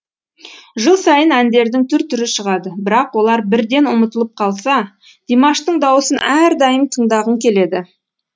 жыл сайын әндердің түр түрі шығады бірақ олар бірден ұмытылып қалса димаштың дауысын әрдайым тыңдағың келеді